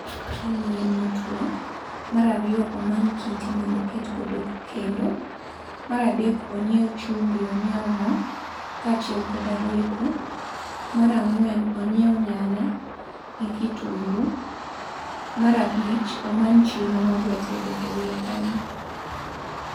Omany yien motwo, mar ariyo omany kite mndo oket godo kendo. Mar adek onyiew chumbi, onyiew mo nyaka gi roiko. Mar ang'wen onyiew nyanya gi kitungu. Mar abich omany chiemo modwa tedo eiye kanyo.